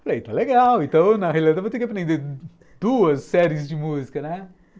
Falei, está legal, então na realidade eu vou ter que aprender duas séries de música, né?